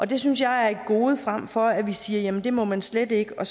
det synes jeg er et gode frem for at vi siger at det må man slet ikke og